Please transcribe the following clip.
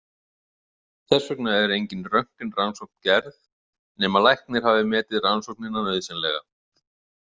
Þess vegna er engin röntgenrannsókn gerð nema læknir hafi metið rannsóknina nauðsynlega.